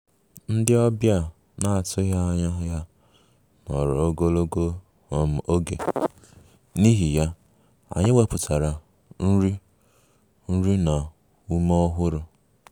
Ndị ọbịa a na-atụghị anya ya nọrọ ogologo um oge, n'ihi ya, anyị wepụtara nri nri na ume ọhụrụ